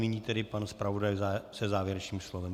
Nyní tedy pan zpravodaj se závěrečným slovem.